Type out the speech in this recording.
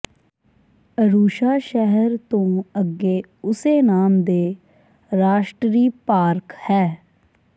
Arusha ਸ਼ਹਿਰ ਤੋਂ ਅੱਗੇ ਉਸੇ ਨਾਮ ਦੇ ਰਾਸ਼ਟਰੀ ਪਾਰਕ ਹੈ